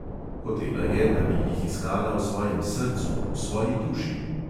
Hotela je, da bi jih iskala v svojem srcu, v svoji duši.